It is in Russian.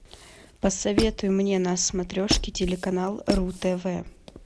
посоветуй мне на смотрешке телеканал ру тв